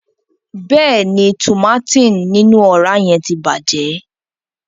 Bẹẹni, tùmátìn ninu ọra yẹn ti bàjẹ́.